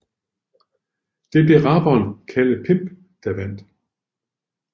Det blev rapperen Kalle Pimp der vandt